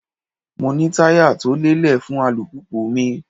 Mo ní táyà tó lélẹ̀ fún alùpùpù mi.